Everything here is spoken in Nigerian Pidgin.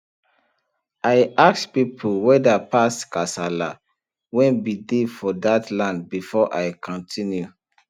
i ask pipu whetherpast kasala wen bin dey for dat land before i continue